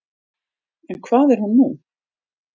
En hvað er hún nú?